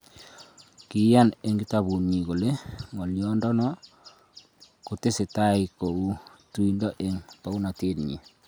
Kiiyan ing' kitabuutnyi kole ng'oliondo no kotesetai koegu tuiindo eng' paaunateet nyi